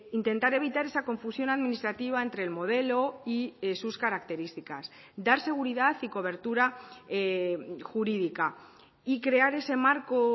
intentar evitar esa confusión administrativa entre el modelo y sus características dar seguridad y cobertura jurídica y crear ese marco